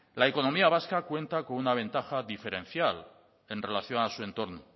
la economía vasca cuenta con una ventaja diferencial en relación a su entorno